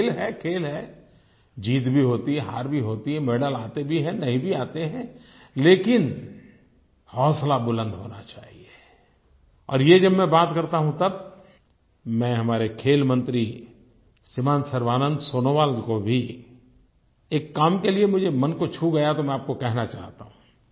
खेल है खेल है जीत भी होती है हार भी होती है मेडल आते भी हैं नहीं भी आते हैं लेकिन हौसला बुलंद होना चाहिए और ये जब मैं बात करता हूँ तब मैं हमारे खेल मंत्री श्रीमान सर्बानन्द सोनोवाल को भी एक काम के लिए मुझे मन को छू गया तो मैं आपको कहना चाहता हूँ